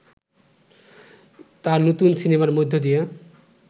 তার নতুন সিনেমার মধ্য দিয়ে